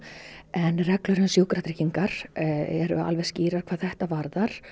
en reglur um sjúkratryggingar eru alveg skýrar hvað þetta varðar